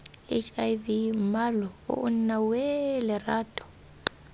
hiv mmalooo nna weeee lerato